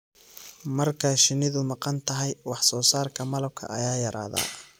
Marka shinnidu maqan tahay, wax soo saarka malabka ayaa yaraada.